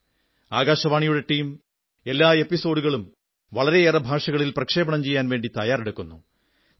ആകാശവാണിയുടെ ടീം എല്ലാ എപ്പിസോഡുകളും വളരെയേറെ ഭാഷകളിൽ പ്രക്ഷേപണം ചെയ്യാൻ വേണ്ടി തയ്യാറാക്കുന്നു